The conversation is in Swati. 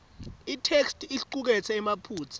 itheksthi icuketse emaphutsa